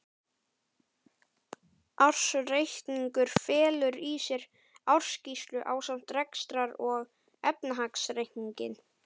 Ársreikningur felur í sér ársskýrslu ásamt rekstrar- og efnahagsreikningi.